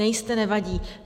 Nejste, nevadí.